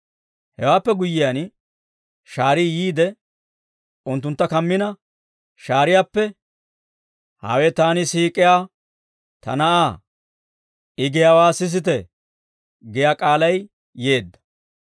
Hewaappe guyyiyaan, shaarii yiide unttuntta kammina shaariyaappe, «Hawe taani siik'iyaa ta Na'aa; I giyaawaa sisite» giyaa k'aalay yeedda.